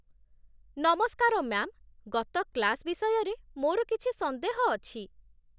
ନମସ୍କାର ମ୍ୟା'ମ୍, ଗତ କ୍ଳାସ ବିଷୟରେ ମୋର କିଛି ସନ୍ଦେହ ଅଛି।